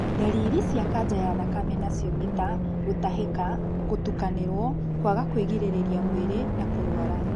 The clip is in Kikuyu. Ndariri cia kanja ya thakame nacio nĩ ta gũtahĩka, gũtukanĩrwo, kwaga kwĩgirĩrĩria mwĩrĩ na kũrũara.